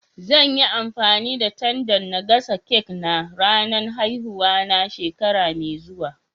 Zan yi amfani da tandan n'gasa cak na ranan haihuwa na shekara mai zuwa.